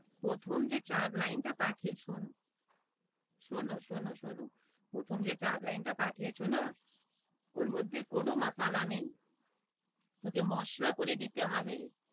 প্রথম যে চার line টা পাঠিয়েছো শোনো শোনো শোনো প্রথম যে চার line টা পাঠিয়েছো না ওর মধ্যে কোনো মাশালা নেই। ওকে মশলা করে দিতে হবে।